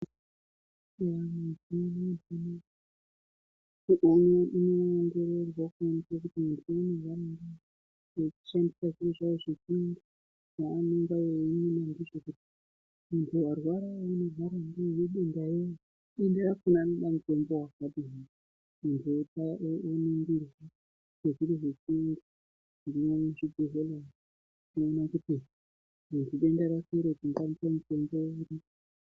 Mazuva anoaya kwava nemichina inodetsera vantu kuti aningirwe kuti muntu arwara arwara nedenta riri dentarakona rinoda mutombo wakadjni nekuningirwa nezviro zviri muzvibhedhlera umu kuona kuti dental rakhona tingaripe mitombo uri.